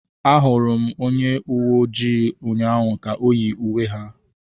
Ahụrụ m onye uwe ojii ụnyaahụ ka yi uwe ha.